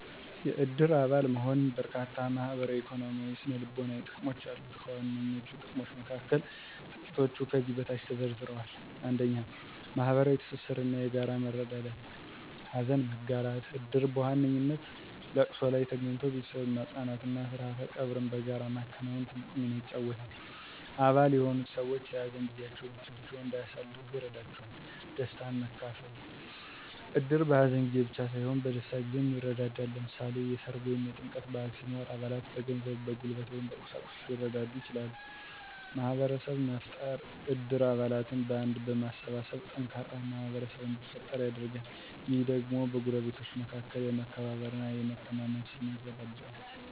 የእድር አባል መሆን በርካታ ማህበራዊ፣ ኢኮኖሚያዊ እና ስነ-ልቦናዊ ጥቅሞች አሉት። ከዋነኞቹ ጥቅሞች መካከል ጥቂቶቹ ከዚህ በታች ተዘርዝረዋል፦ 1. ማህበራዊ ትስስር እና የጋራ መረዳዳት * ሀዘን መጋራት: እድር በዋነኛነት ለቅሶ ላይ ተገኝቶ ቤተሰብን ማጽናናት እና ስርዓተ ቀብርን በጋራ ማከናወን ትልቅ ሚና ይጫወታል። አባል የሆኑት ሰዎች የሀዘን ጊዜያቸውን ብቻቸውን እንዳያሳልፉ ይረዳቸዋል። * ደስታን ማካፈል: እድር በሀዘን ጊዜ ብቻ ሳይሆን በደስታ ጊዜም ይረዳዳል። ለምሳሌ፣ የሠርግ ወይም የጥምቀት በዓል ሲኖር አባላት በገንዘብ፣ በጉልበት ወይም በቁሳቁስ ሊረዱ ይችላሉ። * ማህበረሰብ መፍጠር: እድር አባላትን በአንድነት በማሰባሰብ ጠንካራ ማህበረሰብ እንዲፈጠር ያደርጋል። ይህ ደግሞ በጎረቤቶች መካከል የመከባበር እና የመተማመን ስሜትን ያዳብራል